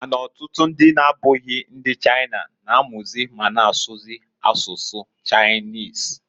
Ma na ọtụtụ ndị na-abụghị ndi China, na-amụzị ma na asụkwazị asụsụ Chinese.